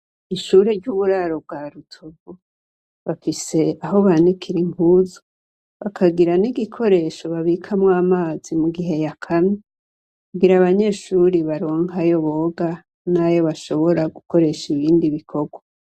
Ishure ry'uburaro bwa Rutovu, bafise aho banikira impuzu bakagira n'igikoresho babikamwo amazi mu gihe yakamye, kugira abanyeshure baronke ayo boga nayo bashobora gukoresha ibindi bikorwa.